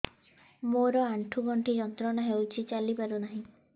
ମୋରୋ ଆଣ୍ଠୁଗଣ୍ଠି ଯନ୍ତ୍ରଣା ହଉଚି ଚାଲିପାରୁନାହିଁ